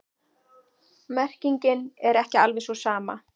Merkingin er ekki alveg sú sama.